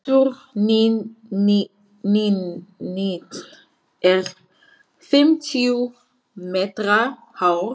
Turninn er fimmtíu metra hár.